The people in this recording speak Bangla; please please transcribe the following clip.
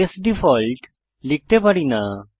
কেস ডিফল্ট লিখতে পারি না